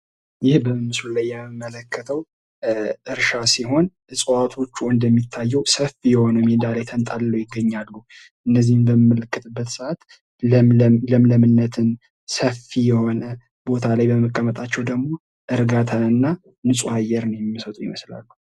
ይህ በምስሉ ላይ የምንመለከተው እርሻ ሲሆን ፤ እጽዋቶቹ እንደሚታየው ሰፊ የሆነ ሜዳ ላይ ተንጣለው ይገኛሉ። እነዚህን በምንመለከትበት ሰአት ለምለምነትን፥ እና ሰፊ የሆነ ቦታ ላይ መቀመጣቸውን ፤ እርጋታንና ንፁሃ አየርን የሚሰጡ ይመስላሉ።